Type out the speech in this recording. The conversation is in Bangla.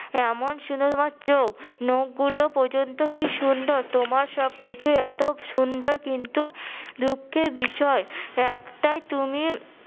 এমন সুন্দর তোমার চোখ নখগুলো পর্যন্ত কি সুন্দর! তোমার সবকিছুই এত সুন্দর কিন্তু দুঃখের বিষয় একটাই তুমি